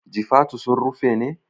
Jifatu sun rufe ne?